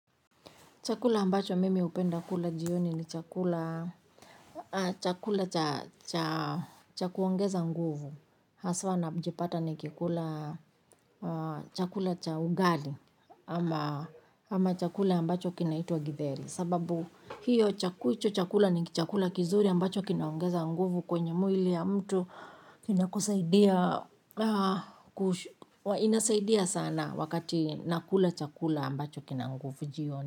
Chakula ambacho mimi hupenda kula jioni ni chakula, chakula cha cha chakuongeza nguvu. Haswa na mjipata nikikula, chakula cha ugali, ama ama chakula ambacho kinaitwa gidheri. Sababu hiyo chakula hicho chakula ni chakula kizuri ambacho kinaongeza nguvu kwenye mwili ya mtu kinakusaidia. Inasaidia sana wakati nakula chakula ambacho kina nguvu jioni.